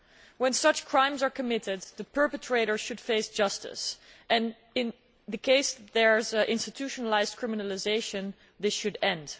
When such crimes are committed the perpetrator should face justice, and where there is institutionalised criminalisation this should end.